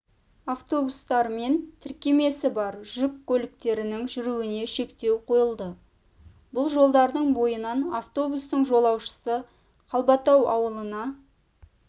автобустар мен тіркемесі бар жүк көліктерінің жүруіне шектеу қойылды бұл жолдардың бойынан автобустың жолаушысы қалбатау ауылына